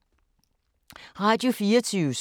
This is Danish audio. Radio24syv